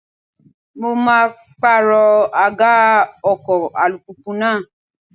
Mo maa pàrọ̀ àga ọkọ̀ alùpùpù náà.